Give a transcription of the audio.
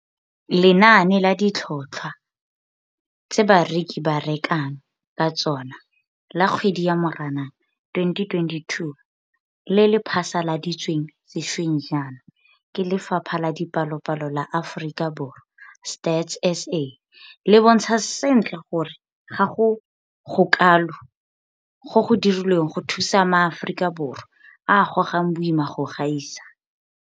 Lenane la Ditlhotlhwa tse Bareki ba Rekang ka Tsona la Kgwedi ya Moranang 2022 le le phasaladitsweng sešweng jaana ke Lefapha la Dipalopalo la Aforika Borwa, Stats SA, le bontsha sentle gore ga go gokalo go go dirilweng go thusa maAforika Borwa a a gogang boima go gaisa.